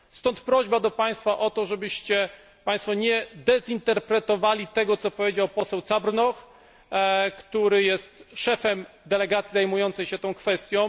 Stąd prośba do Państwa o to, żebyście Państwo nie dezinterpretowali tego, co powiedział poseł Cabrnoch, który jest szefem delegacji zajmującej się tą kwestią.